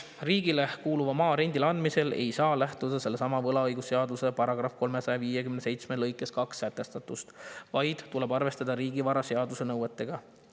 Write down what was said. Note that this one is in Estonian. " Riigile kuuluva maa rendile andmisel ei saa lähtuda sellessamas võlaõigusseaduse § 357 lõikes 2 sätestatust, vaid tuleb arvestada riigivaraseaduse nõuetega.